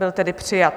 Byl tedy přijat.